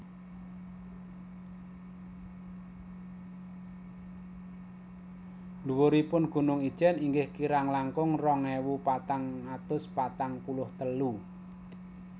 Dhuwuripun Gunung Ijen inggih kirang langkung rong ewu patang atus patang puluh telu